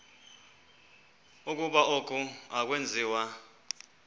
ukuba oku akwenziwa